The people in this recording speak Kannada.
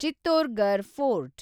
ಚಿತ್ತೋರ್‌ಘರ್ ಫೋರ್ಟ್